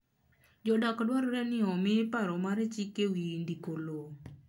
Jodak dwarore n omi paro mar chik e wi ndiko lowo